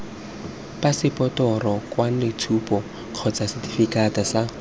phaseporoto lekwaloitshupo kgotsa setefikeiti sa